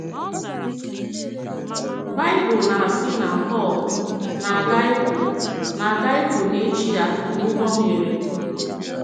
Baịbụl nā-asị na Pọl “nā-agà ịpụ “nā-agà ịpụ n’echi ya” n’ụgbọ mmiri.